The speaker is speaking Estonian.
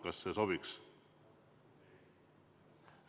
Kas see sobib?